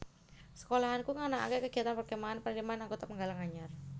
Sekolahanku nganakake kegiatan perkemahan penerimaan anggota penggalang anyar